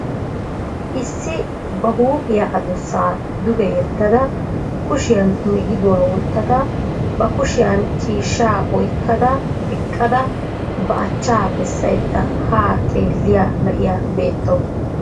Issi ba huuphiyaa adussaa duge yeddada kushiyan migiduwa wottada ba kushiyan ciishshaa oyikkada eqqada ba achcaa bessayidda haa xellita na'iya beettawusu.